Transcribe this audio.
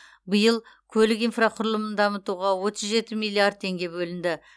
биыл көлік инфрақұрылымын дамытуға отыз жеті миллиард теңге бөлінді